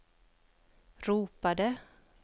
ropade